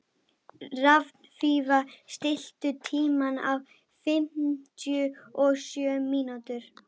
Hrafnfífa, stilltu tímamælinn á fimmtíu og sjö mínútur.